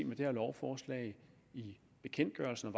med det her lovforslag i bekendtgørelsen og